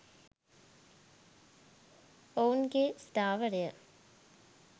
ඔවුන්ගේ ස්ථාවරය